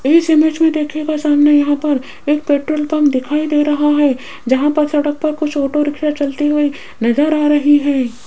इस इमेज में देखिएगा सामने यहां पर एक पेट्रोल पंप दिखाई दे रहा है जहां पर सड़क पर कुछ ऑटो रिक्शा चलती हुई नजर आ रही है।